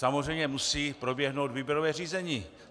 Samozřejmě musí proběhnout výběrové řízení.